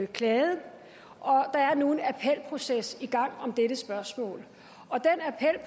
klaget der er nu en appelproces i gang om dette spørgsmål